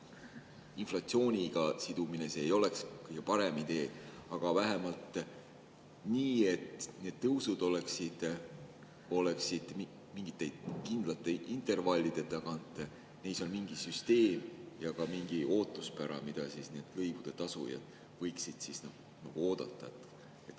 Inflatsiooniga sidumine ei oleks kõige parem idee, aga vähemalt nii, et tõusud oleksid mingite kindlate intervallide tagant, et neis oleks mingi süsteem ja ka mingi ootuspära, mida lõivude tasujad võiksid oodata.